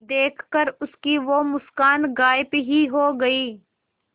देखकर उसकी वो मुस्कान गायब ही हो गयी